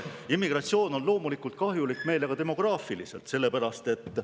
Immigratsioon on loomulikult kahjulik meile ka demograafiliselt, sellepärast et …